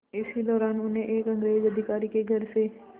इसी दौरान उन्हें एक अंग्रेज़ अधिकारी के घर से